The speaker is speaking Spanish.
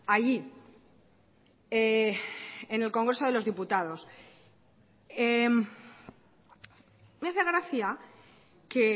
allí en el congreso de los diputados me hace gracia que